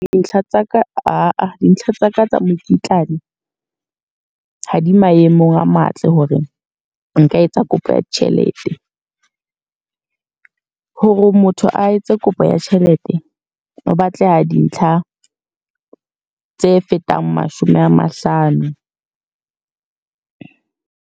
Dintlha tsa ka. Aa dintlha tsa ka tsa mokitlane, ha di maemong a matle hore nka etsa kopo ya tjhelete. Hore motho a etse kopo ya tjhelete, ho batleha dintlha tse fetang mashome a mahlano.